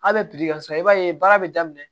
A bɛ ka sa i b'a ye baara bɛ daminɛ